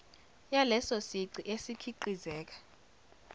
yaleso sici esikhiqizeka